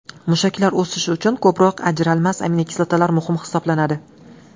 Mushaklar o‘sishi uchun ko‘proq ajralmas aminokislotalar muhim hisoblanadi.